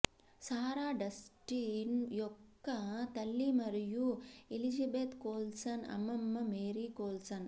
సారా Dustin యొక్క తల్లి మరియు ఎలిజబెత్ కోల్సన్ అమ్మమ్మ మేరీ కోల్సన్